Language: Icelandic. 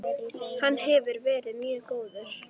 Hann hefur verið mjög góður.